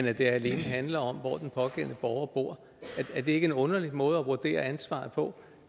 at det alene handler om hvor den pågældende borger bor er det ikke en underlig måde at vurdere ansvaret på